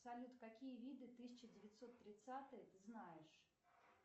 салют какие виды тысяча девятьсот тридцатые ты знаешь